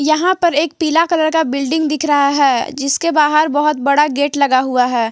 यहां पर एक पीला कलर का बिल्डिंग दिख रहा है जिसके बाहर बहोत बड़ा गेट लगा हुआ है।